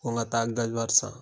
Ko n ka taa san